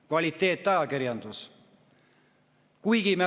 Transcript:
Kvaliteetajakirjandus!